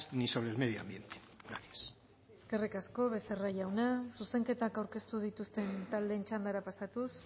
ni sobre el medio ambiente gracias eskerrik asko becerra jauna zuzenketak aurkeztu dituzten taldeen txandara pasatuz